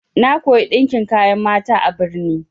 Na koya ɗinkin kayan mata a birni.